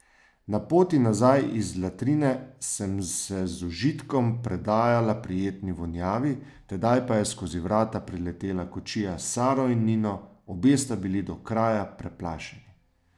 Na poti nazaj iz latrine sem se z užitkom predajala prijetni vonjavi, tedaj pa je skozi vrata priletela kočija s Saro in Nino, obe sta bili do kraja preplašeni.